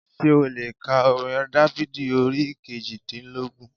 Sé ó le è ka orin Dáfídì orí kejìdínlógún